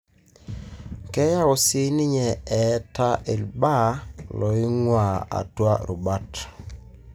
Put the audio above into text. keyau sininye ataa ilbaa loingua atua rubat.